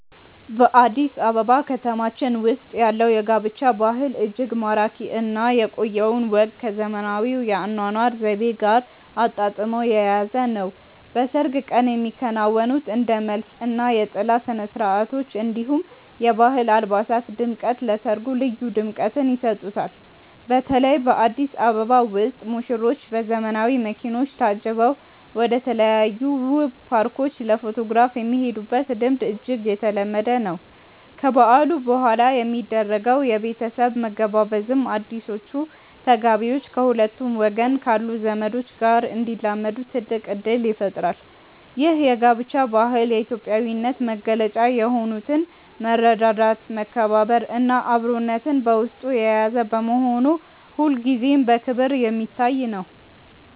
በአዲስ አበባ ከተማችን ውስጥ ያለው የጋብቻ ባህል እጅግ ማራኪ እና የቆየውን ወግ ከዘመናዊው የአኗኗር ዘይቤ ጋር አጣጥሞ የያዘ ነው። በሰርግ ቀን የሚከናወኑት እንደ መልስ እና የጥላ ስነስርዓቶች፣ እንዲሁም የባህል አልባሳት ድምቀት ለሰርጉ ልዩ ድምቀትን ይሰጡታል። በተለይ በአዲስ አበባ ውስጥ ሙሽሮች በዘመናዊ መኪኖች ታጅበው ወደተለያዩ ውብ ፓርኮች ለፎቶግራፍ የሚሄዱበት ልምድ እጅግ የተለመደ ነው። ከበዓሉ በኋላ የሚደረገው የቤተሰብ መገባበዝም አዲሶቹ ተጋቢዎች ከሁለቱም ወገን ካሉ ዘመዶች ጋር እንዲላመዱ ትልቅ እድል ይፈጥራል። ይህ የጋብቻ ባህል የኢትዮጵያዊነትን መገለጫ የሆኑትን መረዳዳት፣ መከባበር እና አብሮነትን በውስጡ የያዘ በመሆኑ ሁልጊዜም በክብር የሚታይ ነው።